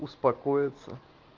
успокоиться